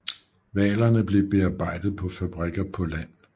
Hvalerne blev bearbejdet på fabrikker på land